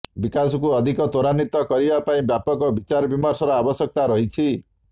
ବିକାଶକୁ ଅଧିକ ତ୍ୱରାନ୍ୱିତ କରିବା ପାଇଁ ବ୍ୟାପକ ବିଚାରବିମର୍ଶର ଆବଶ୍ୟକତା ରହିଛି